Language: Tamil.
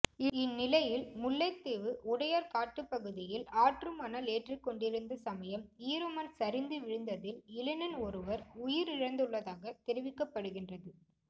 இந்நிலையில் முல்லைத்தீவு உடையார் கட்டுப்பகுதியில் ஆற்றுமணல் ஏற்றிக்கொண்டிருந்த சமயம் ஈர மண் சரிந்து விழந்ததில் இளைஞன் ஒருவர் உயிரிழந்துள்ளதாக தெரிவிக்கப்படுகின்றது